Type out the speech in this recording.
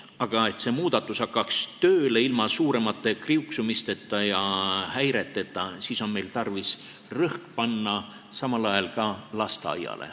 Aga et see muudatus hakkaks tööle ilma suuremate kriuksumiste ja häireteta, on meil tarvis rõhk panna samal ajal ka lasteaiale.